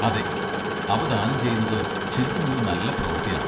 അതെ, അവ ദാനം ചെയ്യുന്നത് ശരിക്കും ഒരു നല്ല പ്രവർത്തിയാണ്.